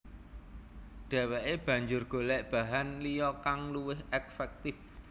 Dheweke banjur golek bahan liya kang luwih efektif